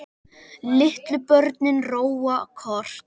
Litlu börnin róa kort.